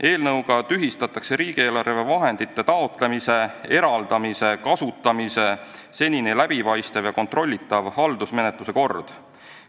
Eelnõuga tühistatakse riigieelarvevahendite taotlemise, eraldamise ja kasutamise senine läbipaistev ja kontrollitav haldusmenetluse kord.